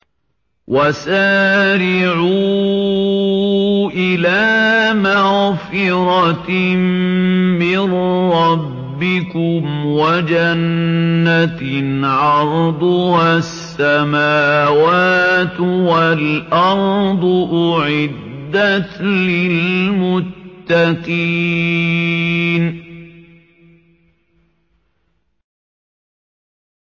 ۞ وَسَارِعُوا إِلَىٰ مَغْفِرَةٍ مِّن رَّبِّكُمْ وَجَنَّةٍ عَرْضُهَا السَّمَاوَاتُ وَالْأَرْضُ أُعِدَّتْ لِلْمُتَّقِينَ